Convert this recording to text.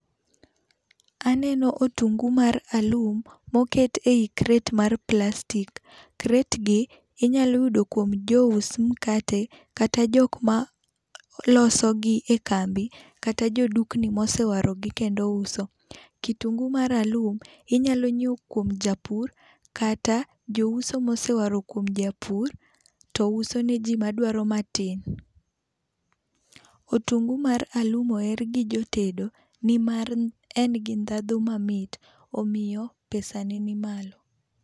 Aneno otungu mar alum moket eyi kret mar plastik. Kret gi inyalo yudo kuom jo us mkate kata jok ma sologi e kambi kata jodukni mosewarogi kendo uso. Kitungu mar alum inyalo nyiew kuom japur kata jouso ma osewaro kuom japur to uso ne ji madwaro matin. Otungu mar alum oher gi jotedo nimar en gi dhadho mamit. Omiyo pesa ne ni malo.